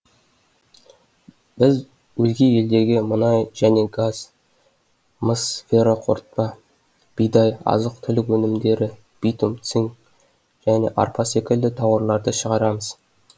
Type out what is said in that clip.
біз өзге елдерге мұнай және газ мыс феррорқортпа бидай азық түлік өнмідері битум цинк және арпа секілді тауарларды шығарамыз